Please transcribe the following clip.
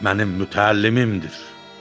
Mənim mütəllimimdir.